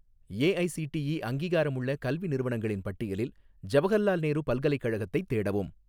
AICTE அங்கீகாரமுள்ள கல்வி நிறுவனங்களின் பட்டியலில் ஜவஹர்லால் நேரு பல்கலைக்கழகத்தைத் தேடவும்